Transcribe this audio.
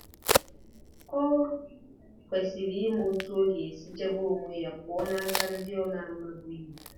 Ọ kwesịrị ịma otú ọ ga-esi chebe onwe ya pụọ n'aka ndị ọ na-amabughị. ”